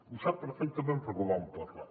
ho sap perfectament perquè ho vam parlar